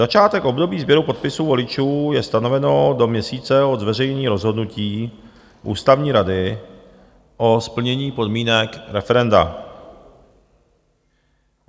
Začátek období sběru podpisů voličů je stanoveno do měsíce od zveřejnění rozhodnutí ústavní rady o splnění podmínek referenda.